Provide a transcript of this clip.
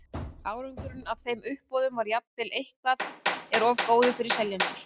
árangurinn af þeim uppboðum var jafnvel ef eitthvað er of góður fyrir seljendur